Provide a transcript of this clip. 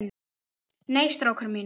Nei, strákar mínir.